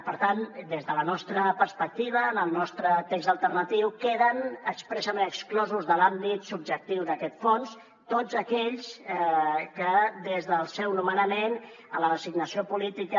per tant des de la nostra perspectiva en el nostre text alternatiu queden expressament exclosos de l’àmbit subjectiu d’aquest fons tots aquells que des del seu nomenament a la designació política